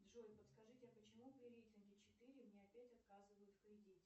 джой подскажите а почему при рейтинге четыре мне опять отказывают в кредите